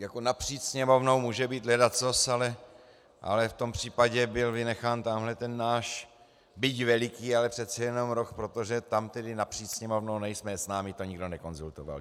Jako napříč Sněmovnou může být ledacos, ale v tom případě byl vynechán tamhle ten náš byť veliký, ale přece jenom roh, protože tam tedy napříč Sněmovnou nejsme, s námi to nikdo nekonzultoval.